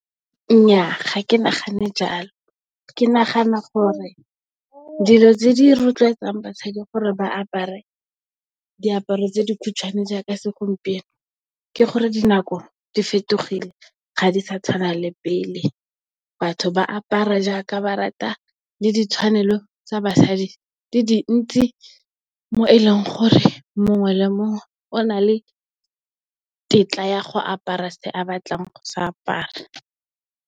Nnyaa ga ke nagane jalo ke nagana gore dilo tse di rotloetsang basadi gore ba apare diaparo tse di khutshwane jaaka, segompieno ke gore dinako di fetogile. Ga di sa tshwana le pele batho ba apara jaaka ba rata le ditshwanelo tsa basadi di dintsi mo e leng gore mongwe le mongwe o na le tetla ya go apara se a batlang go se apara.